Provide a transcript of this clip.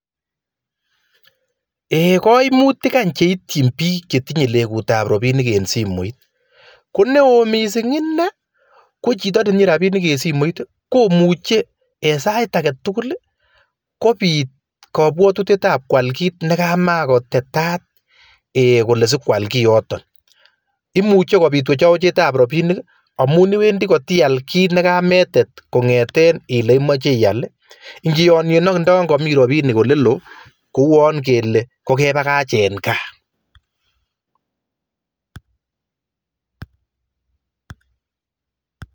Ee koimutik any cheityin piik chetinye legutap rapinik en simoit ko neo misiing' ine, ko chito netinye rapinik en simoit, komuche en sait agetugul kopiit kabwatutietap kwal kiit nekamakotetat ee kole sikwal kioton, imuche kopiit wechowechetap rapinik amun iwendi kotial kiit nekametet kong'eten ile imoche ial ingiyonyen ak indo yon komi rapinik olelo kouwon kele kokebagach en gaa